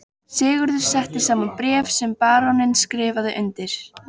Sigurður setti saman bréf sem baróninn skrifaði undir.